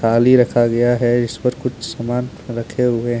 थाली रखा गया है इस पर कुछ सामान रखे हुए है।